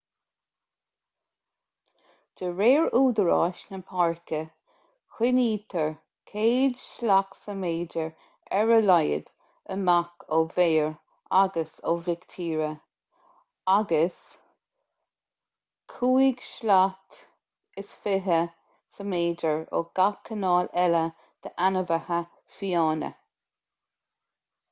de réir údaráis na páirce coinnítear 100 slat/méadar ar a laghad amach ó bhéir agus ó mhic tíre agus 25 slat/méadar ó gach cineál eile d'ainmhithe fiáine!